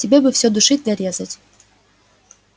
тебе бы всё душить да резать